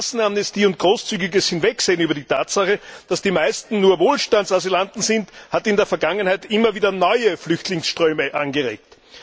Massenamnestie und großzügiges Hinwegsehen über die Tatsache, dass die meisten nur Wohlstandsasylanten sind, hat in der Vergangenheit immer wieder neue Flüchtlingsströme angeregt.